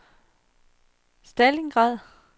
Stalingrad